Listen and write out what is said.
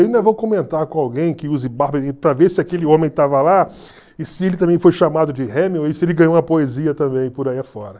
Ainda vou comentar com alguém que use barba para ver se aquele homem estava lá e se ele também foi chamado de Hemingway, se ele ganhou uma poesia também por aí afora.